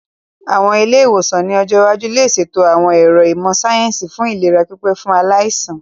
Àwọn ilé-ìwòsàn ní ọjọ́ iwájú lè ṣètò àwọn ẹ̀ro ìmọ̀ síáyẹ́nsì fún ìlera pípé fún aláìsàn